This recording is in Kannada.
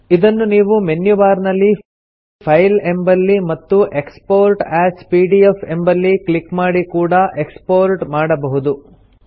ಇದನ್ನು ನೀವು ಮೆನ್ಯು ಬಾರ್ ನಲ್ಲಿ ಫೈಲ್ ಎಂಬಲ್ಲಿ ಮತ್ತು ಎಕ್ಸ್ಪೋರ್ಟ್ ಎಎಸ್ ಪಿಡಿಎಫ್ ಎಂಬಲ್ಲಿ ಕ್ಲಿಕ್ ಮಾಡಿ ಕೂಡಾ ಎಕ್ಸ್ಪೋರ್ಟ್ ಮಾಡಬಹುದು